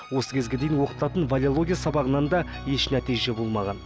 осы кезге дейін оқытылатын валеология сабағынан да еш нәтиже болмаған